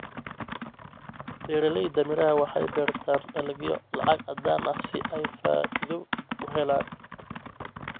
Beeralayda miraha waxay beertaan dalagyo lacag caddaan ah si ay faa'iido u helaan.